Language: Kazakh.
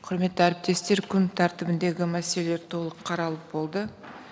құрметті әріптестер күн тәртібіндегі мәселелер толық қаралып болды